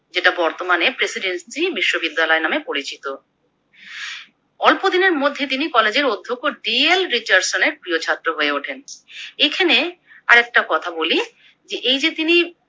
যেটা বর্তমানে প্রেসিডেন্সি বিশ্ববিদ্যালয় নাম পরিচিত। অল্প দিনের মধ্যে তিনি কলেজের অধ্যক্ষ ডি. এল. রিচার্ডসনের প্রিয় ছাত্র হয়ে ওঠেন। এখানে আরেকটা কথা বলি যে এই যে তিনি